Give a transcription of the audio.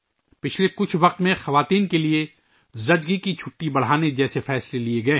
پچھلے کچھ ماہ میں خواتین کے لئے زچگی کی چھٹی بڑھانے جیسے فیصلے کئے گئے ہیں